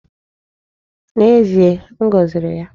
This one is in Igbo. N'ezie, m goziri ya.